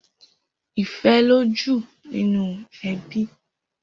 Ifè lójú ninú èbí